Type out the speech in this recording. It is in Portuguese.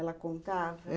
Ela contava?